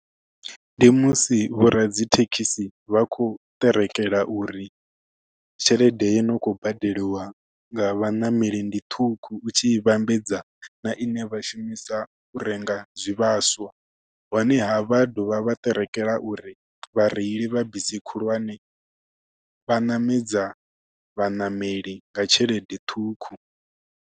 Ndi musi vho radzithekhisi vha khou ṱerekela uri tshelede yo no kho badeliwa nga vhaṋameli ndi ṱhukhu u tshi vhambedza na ine vha shumisa u renga zwivhaswa honeha vha dovha vha ṱerekela uri vha reili vha bisi khulwane vha ṋamedza vhaṋameli nga tshelede ṱhukhu.